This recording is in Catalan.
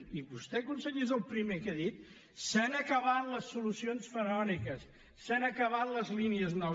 i vostè conseller és el primer que ha dit s’han acabat les solucions faraòniques s’han acabat les línies nou